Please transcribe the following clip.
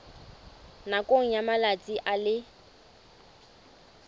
nakong ya malatsi a le